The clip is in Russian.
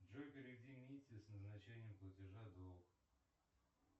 джой переведи мите с назначением платежа долг